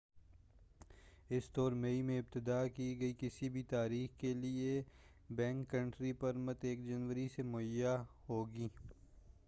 اس طور مئی میں ابتدا کی کسی بھی تاریخ کے لئے بیک کنٹری پرمٹ 1 جنوری سے مہیا ہوگی